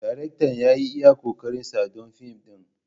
Daraktan ya yi iya ƙoƙarinsa don fim ɗin.